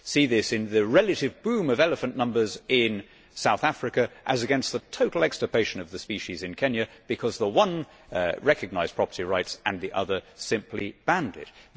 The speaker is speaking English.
You see this in the relative boom of elephant numbers in South Africa, as against the total extirpation of the species in Kenya, because the one recognised property rights and the other simply banned it.